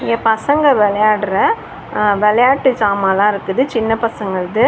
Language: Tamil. இங்க பசங்க வெளையாட்ற அ வெளையாட்டு சமாலா இருக்குது சின்ன பசங்கள்து.